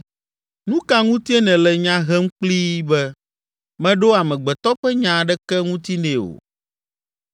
Nu ka ŋutie nèle nya hem kplii be, meɖo amegbetɔ ƒe nya aɖeke ŋuti nɛ o?